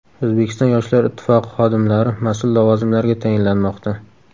O‘zbekiston Yoshlar ittifoqi xodimlari mas’ul lavozimlarga tayinlanmoqda.